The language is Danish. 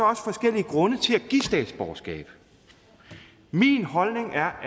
også forskellige grunde til at give statsborgerskab min holdning er